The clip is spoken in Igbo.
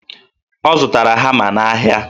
Ọ zụtara hama n'ahịa